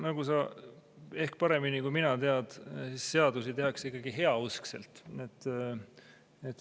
Nagu sa ehk paremini kui mina tead, seadusi tehakse ikkagi heauskselt.